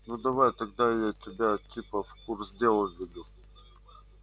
ну давай тогда я тебя типа в курс дела введу